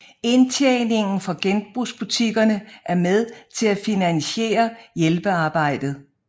Indtjeningen fra genbrugsbutikkerne er med til at finansiere hjælpearbejdet